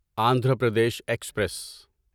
Andhra Pradesh express